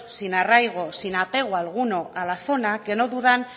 sin arraigo sin apego alguno a la zona que no dudan